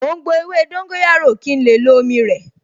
Mò ń gbo ewé dóńgóyárò kí n lè lo omi rẹ̀